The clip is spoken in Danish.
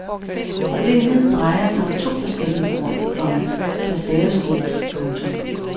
Problemet drejer sig om to forskellige ord, komma der staves ens. punktum